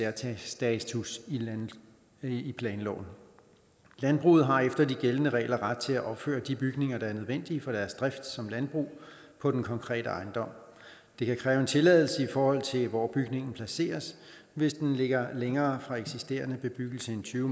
særstatus i planloven landbruget har efter de gældende regler ret til at opføre de bygninger der er nødvendige for deres drift som landbrug på den konkrete ejendom det kan kræve en tilladelse i forhold til hvor bygningen placeres hvis den ligger længere fra eksisterende bebyggelse end tyve